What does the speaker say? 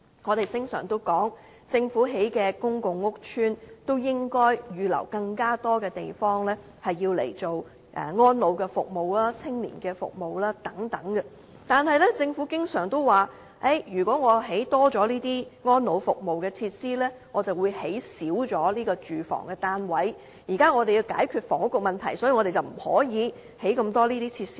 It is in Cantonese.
我們經常說，政府興建的公共屋邨應該預留更多地方，用來提供安老服務、青年服務等，但政府經常說，如果多興建安老服務設施，便會減少興建住屋單位，政府現時要解決房屋問題，所以不能興建這麼多設施。